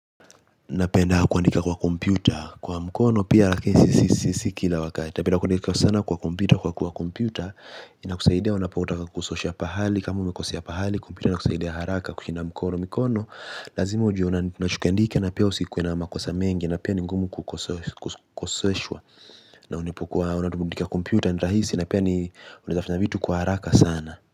Napeda kuandika kwa kompyuta kwa mkono pia lakini si si kila wakati. Napenda kuandika sana kwa kompyuta kwa kuwa kompyuta inakusaidia unapotaka kusosha pahali kama umekosea pahali kompyuta inakusaidia haraka kushinda mkono mikono lazima ujue unachokiandika na pia usikue na makosa mengi na pia ni ngumu kukoseshwa na unapokua unatumia kompyuta ni raisi na pia unaeza fanya vitu kwa haraka sana.